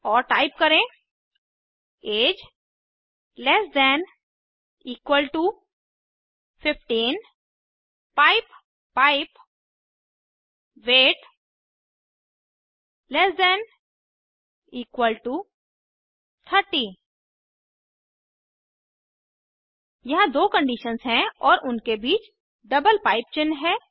और टाइप करें age less than equal to 15 pipe pipe weight less than equal to 30 यहाँ दो conditions हैं और उनके बीच डबल पाइप चिन्ह है